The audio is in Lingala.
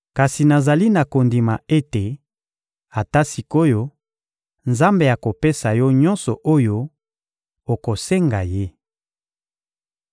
Kasi nazali na kondima ete, ata sik’oyo, Nzambe akopesa Yo nyonso oyo okosenga Ye.